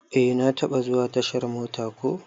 Eh na taba zuwa tashar mota ko.